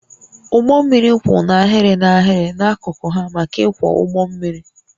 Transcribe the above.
Ụgbọ mmiri kwụ n'ahịrị n'ahịrị n'akụkụ ha maka ịkwọ ụgbọ mmiri